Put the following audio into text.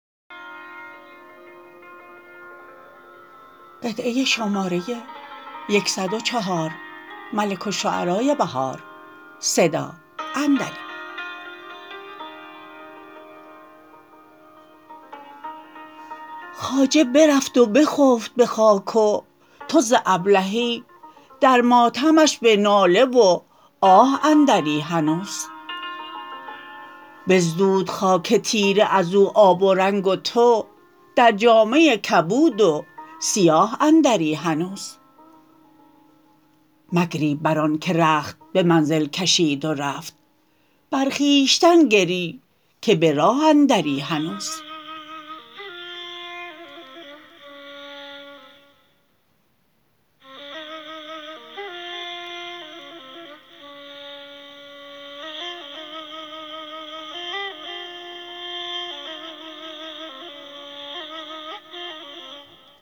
خواجه برفت و خفت به خاک وتو ز ابلهی در ماتمش به ناله و آه اندری هنوز بزدود خاک تیره از او آب و رنگ و تو در جامه کبود و سیاه اندری هنوز مگری برآن که رخت به منزل کشید و رفت بر خویشتن گری که به راه اندری هنوز